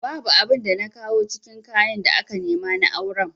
Babu abin da na kawo cikin kayan da aka nema na auren